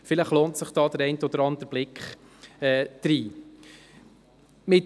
Vielleicht lohnt sich der eine oder andere Blick in die Homepage.